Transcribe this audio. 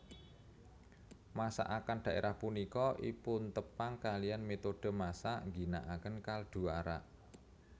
Masakan daerah punika ipuntepang kaliyan metode masak ginaaken kaldu arak